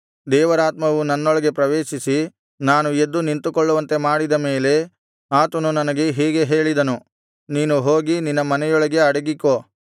ದೇವರಾತ್ಮವು ನನ್ನೊಳಗೆ ಪ್ರವೇಶಿಸಿ ನಾನು ಎದ್ದು ನಿಂತುಕೊಳ್ಳುವಂತೆ ಮಾಡಿದ ಮೇಲೆ ಆತನು ನನಗೆ ಹೀಗೆ ಹೇಳಿದನು ನೀನು ಹೋಗಿ ನಿನ್ನ ಮನೆಯೊಳಗೆ ಅಡಗಿಕೋ